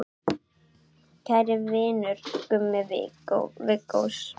Kæri vinur, Gummi Viggós.